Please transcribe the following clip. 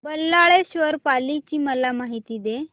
बल्लाळेश्वर पाली ची मला माहिती दे